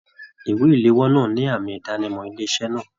Ìwé iléwọ́ náà ní àmì idanimọ ilé iṣẹ náà.